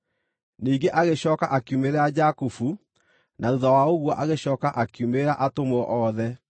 Ningĩ agĩcooka akiumĩrĩra Jakubu na thuutha wa ũguo agĩcooka akiumĩrĩra atũmwo othe,